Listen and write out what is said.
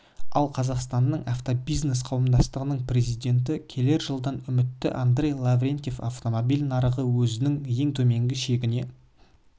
ал қазақстанның автобизнес қауымдастығының президенті келер жылдан үмітті андрей лаврентьев автомобиль нарығы өзінің ең төменгі шегіне